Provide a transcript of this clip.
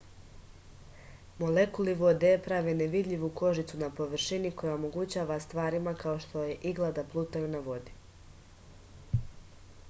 molekuli vode prave nevidljivu kožicu na površini koja omogućava stvarima kao što je igla da plutaju na vodi